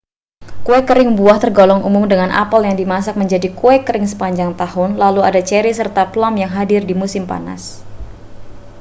kue kering buah tergolong umum dengan apel yang dimasak menjadi kue kering sepanjang tahun lalu ada ceri serta plum yang hadir di musim panas